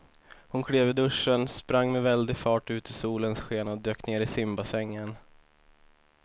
Hon klev ur duschen, sprang med väldig fart ut i solens sken och dök ner i simbassängen.